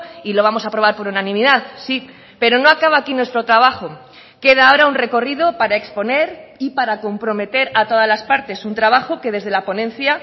y lo vamos a aprobar por unanimidad sí pero no acaba aquí nuestro trabajo queda ahora un recorrido para exponer y para comprometer a todas las partes un trabajo que desde la ponencia